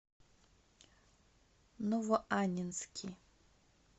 новоаннинский